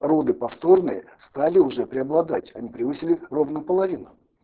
роды повторные стали уже преобладать они превысили ровно половину